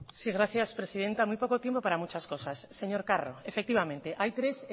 gracias presidenta muy poco tiempo para muchas cosas señor carro efectivamente hay tres